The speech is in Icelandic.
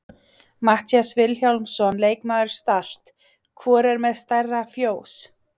Matthías Vilhjálmsson leikmaður Start: Hvor er með stærra fjós?